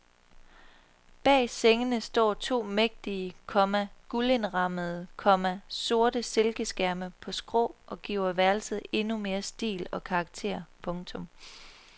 Bag sengene står to mægtige, komma guldindrammede, komma sorte silkeskærme på skrå og giver værelset endnu mere stil og karakter. punktum